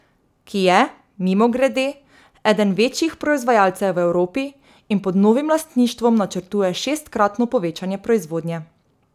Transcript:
Ki je, mimogrede, eden večjih proizvajalcev v Evropi in pod novim lastništvom načrtuje šestkratno povečanje proizvodnje.